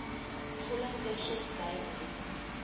volle kursus bywoon